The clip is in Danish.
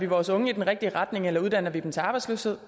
vores unge i den rigtige retning eller uddanner vi dem til arbejdsløshed